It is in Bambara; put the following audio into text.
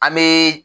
An bɛ